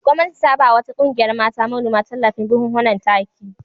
Gwamnati ta ba wa wata ƙungiyar mata manoma tallafin buhhunan taki.